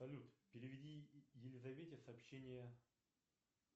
салют переведи елизавете сообщение